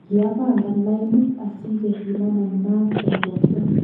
kiapangan lainit asikepimanan maat en borto